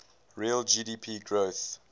real gdp growth